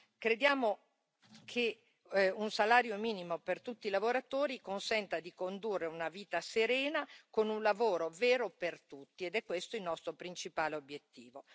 Crediamo che un salario minimo per tutti i lavoratori consenta di condurre una vita serena con un lavoro vero per tutti, ed è questo il nostro principale obiettivo.